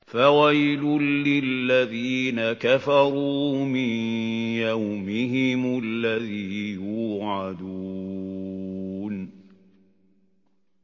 فَوَيْلٌ لِّلَّذِينَ كَفَرُوا مِن يَوْمِهِمُ الَّذِي يُوعَدُونَ